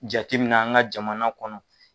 Jateminɛ an ka jamana kɔnɔ.